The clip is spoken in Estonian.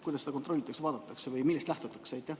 Kuidas seda kontrollitakse või millest lähtutakse?